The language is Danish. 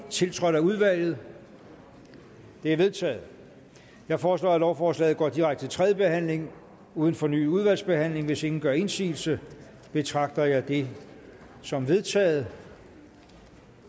tiltrådt af udvalget det er vedtaget jeg foreslår at lovforslaget går direkte til tredje behandling uden fornyet udvalgsbehandling hvis ingen gør indsigelse betragter jeg det som vedtaget